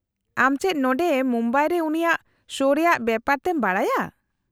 -ᱟᱢ ᱪᱮᱫ ᱱᱚᱰᱮ ᱢᱩᱢᱵᱟᱭ ᱨᱮ ᱩᱱᱤᱭᱟᱜ ᱥᱳ ᱨᱮᱭᱟᱜ ᱵᱮᱯᱟᱨ ᱛᱮᱢ ᱵᱟᱰᱟᱭᱟ ?